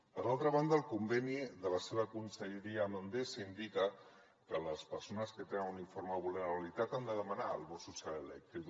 per altra banda el conveni de la seva conselleria amb endesa indica que les persones que tenen un informe de vulnerabilitat han de demanar el bo social elèctric